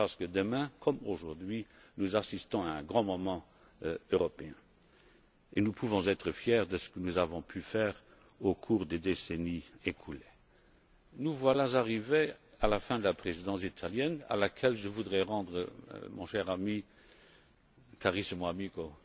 parce que demain, comme aujourd'hui, nous assisterons à un grand moment européen et nous pouvons être fiers de ce que nous avons réalisé au cours des décennies écoulées. Nous voilà arrivés à la fin de la Présidence italienne à laquelle je voudrais rendre, mon cher ami, carissimo amico